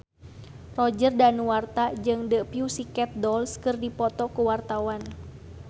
Roger Danuarta jeung The Pussycat Dolls keur dipoto ku wartawan